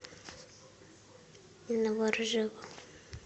новоржеву